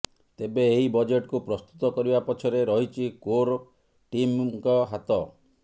ତେବେ ଏହି ବଜେଟକୁ ପ୍ରସ୍ତୁତ କରିବା ପଛରେ ରହିଛି କୋର୍ ଟିମ୍ଙ୍କ ହାତ